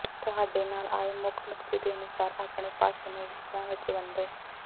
ਤੁਹਾਡੇ ਨਾਲ ਆਏ ਮੁੱਖ ਨੁਕਤੇ ਦੇ ਅਨੁਸਾਰ ਆਪਣੇ ਭਾਸ਼ਣ ਨੂੰ ਵਿਸ਼ਿਆਂ ਵਿੱਚ ਵੰਡੋ